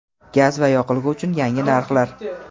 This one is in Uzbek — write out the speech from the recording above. gaz va yoqilg‘i uchun yangi narxlar.